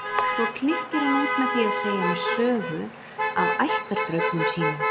Svo klykkir hann út með því að segja mér sögu af ættardraugnum sínum.